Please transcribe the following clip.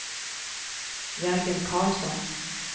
Jörgen Karlsson